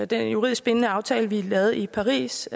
den juridisk bindende aftale vi lavede i paris